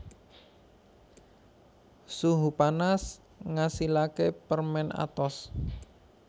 Suhu panas ngasilaké permèn atos